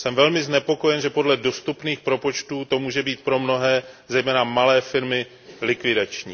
Jsem velmi znepokojen, že podle dostupných propočtů to může být pro mnohé, zejména malé firmy, likvidační.